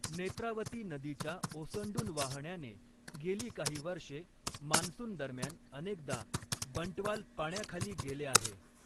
नेत्रावती नदीच्या ओसंडून वाहण्याने गेली काही वर्षे मान्सूनदरम्यान अनेकदा बंटवाल पाण्याखाली गेले आहे.